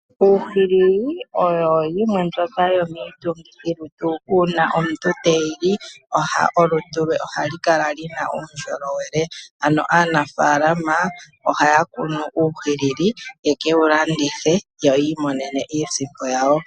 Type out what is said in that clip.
Uuhilili oyo yimwe mbyoka yo miitungilutu, uuna omuntu te yili, olutu lwe ohalu kala luna uundjolowele, ano aanfalama ohaya kunu uuhilili, ye kewu landithe, yo yiimonene iisimpo yawo.